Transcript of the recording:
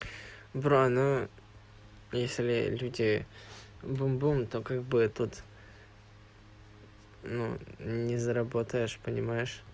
брат ну если люди бум бум то как бы тут ну не заработаешь понимаешь